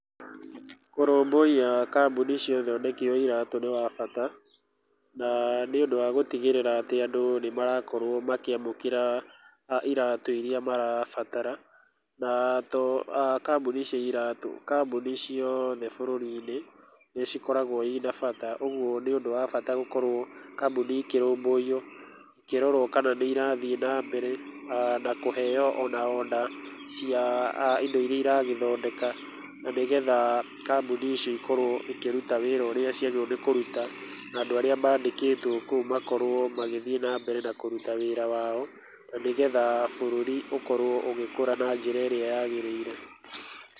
Kũrũmbũia kambuni cia ũthondeki wa iratũ nĩ wa bata na nĩ ũndũ wa gũtigĩrĩra atĩ andũ nĩ marakorwo makĩamũkĩra iratĩ irĩa marabatara. Na to kambuni cia iratũ, kambuni ciothe bũrũri-inĩ nĩ cikoragwo ina bata, ũguo nĩ ũndũ wa bata gũkorwo kambuni ikĩrũmbũio ikĩrorwo kana nĩ irathiĩ nambere na kũheo ona order cia ido irĩa iragĩthondeka. Na nĩgetha kambuni icio ikorwo ikĩruta wĩra ũrĩa ciagĩrĩirwo nĩ kũruta, na andũ arĩa mandĩkĩtwo kũu makorwo magĩthiĩ nambere na kĩruta wĩra wao na nĩgetha bũrũri ũkorwo ũgĩkũra na njĩra ĩrĩa yagĩrĩire.